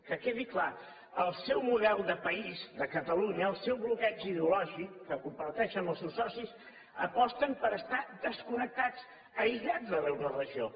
que quedi clar el seu model de país de catalunya el seu bloqueig ideològic que comparteix amb els seus socis aposten per estar desconnectats aïllats de l’euroregió